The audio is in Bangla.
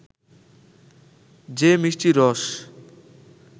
যে মিষ্টি রস